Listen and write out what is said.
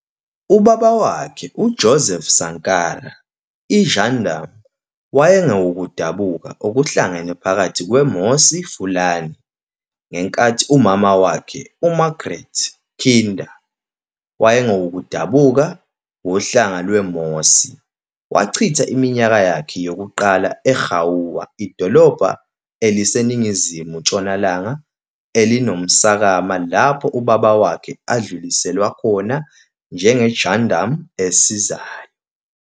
Ubaba wakhe, uJoseph Sankara, i-gendarme, wayengowokudabuka okuhlangene phakathi kweMossi-Fulani, Silmi-Moaga, ngenkathi umama wakhe, uMarguerite Kinda, wayengowokudabuka wohlanga lweMossi. Wachitha iminyaka yakhe yokuqala eGaoua, idolobha eliseningizimu-ntshonalanga elinomsokama lapho ubaba wakhe adluliselwa khona njengegendarme esizayo.